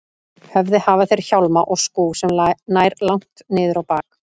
höfði hafa þeir hjálma og skúf sem nær langt niður á bak.